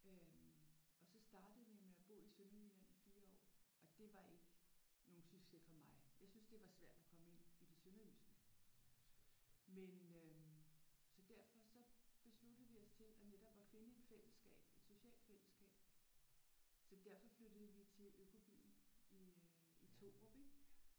Øh og så startede vi med at bo i Sønderjylland i 4 år og det var ikke nogen succes for mig. Jeg syntes det var svært at komme ind i det sønderjyske men øh så derfor så besluttede vi os til at netop at finde et fællesskab. Et socialt fællesskab. Så derfor flyttede vi til økobyen i Thorup ik?